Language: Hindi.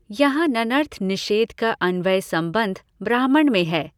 यहाँ नञर्थ निषेध का अन्वय सम्बन्ध ब्राह्मण में है।